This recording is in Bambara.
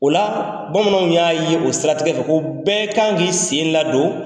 O la bamananw y'a ye o siratigɛ fɛ ko bɛɛ kan k'i sen ladon